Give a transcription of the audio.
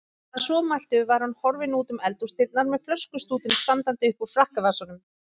Að svo mæltu var hann horfinn útum eldhúsdyrnar með flöskustútinn standandi uppúr frakkavasanum.